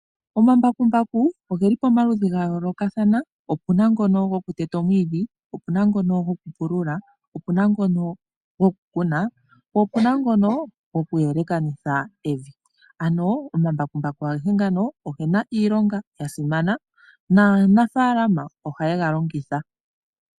Omambakumbaku oge li pamaludhi ga yoolokathana, opu na ngono gokuteta omwiidhi, opu na ngono gokupulula, opu na ngono gokukuna, po opu na ngono gokuyelekanitha evi. Ano omambakumbaku ngano oge na iilonga ya simana naanafaalama ohaye ga longitha.